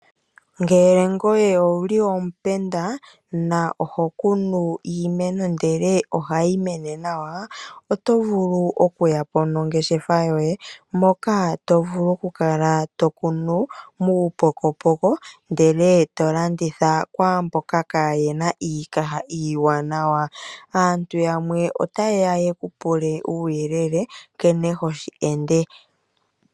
Ngele ngoye owuli omupenda, noho kunu iimeno ndele ohayi mene nawa, oto vulu oku yapo nongeshefa yoye moka to vulu oku kala to kunu muupokopoko ndele to kala to landitha ku mboka kaayena iikaha iiwanawa. Aantu yamwe otayeya yeku pule uuyelele nkene hoshi ende.